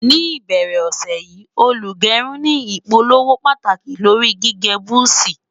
ní ìbẹrẹ ọsẹ yi, olugerun ní ìpolówó pàtàkì lórí gígé buzi